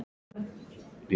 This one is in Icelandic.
Það varð hann að gera.